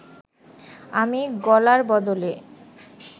আমি গলার বদলে